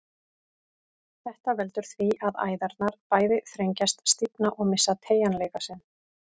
Þetta veldur því að æðarnar bæði þrengjast, stífna og missa teygjanleika sinn.